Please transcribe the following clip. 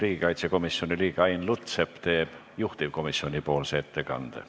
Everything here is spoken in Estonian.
Riigikaitsekomisjoni liige Ain Lutsepp teeb juhtivkomisjoni ettekande.